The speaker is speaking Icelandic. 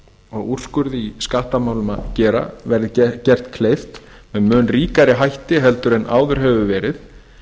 og úrskurði í skattamálum að gera verði gert kleift með mun ríkari hætti en áður hefur verið